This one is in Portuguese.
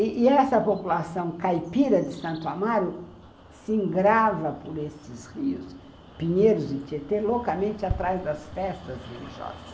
E essa população caipira de Santo Amaro se engrava por esses rios, Pinheiros e Tietê, loucamente atrás das festas religiosas.